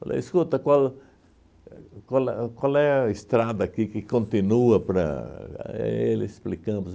Falei, escuta, qual éh qual é qual é a estrada aqui que continua para... Aí ele explicando